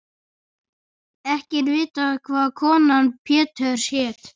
Ekki er vitað hvað kona Péturs hét.